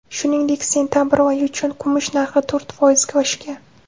Shuningdek, sentabr oyi uchun kumush narxi to‘rt foizga oshgan.